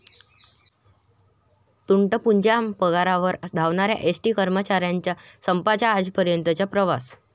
तुटपुंज्या पगारावर 'धावणाऱ्या' एसटी कर्मचाऱ्यांचा संपाचा आजपर्यंतचा प्रवास